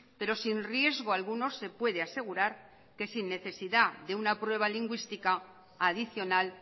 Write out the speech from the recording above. pero sin riesgo alguno se puede asegurar que sin necesidad de una prueba lingüística adicional